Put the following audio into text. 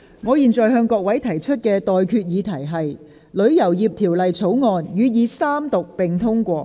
我現在向各位提出的待決議題是：《旅遊業條例草案》予以三讀並通過。